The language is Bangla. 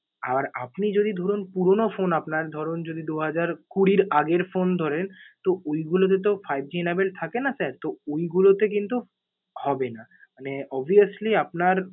আর আপনি যদি ধরুন, পুরনো phone আপনার। ধরুন যদি দু হাজার কুড়ির আগের phone ধরেন তো ঐ গুলোতে তো fiveG enabled থাকেনা sir, তো ঐগুলোতে কিন্তু হবেনা। মানে obvioulsy আপনার